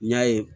N y'a ye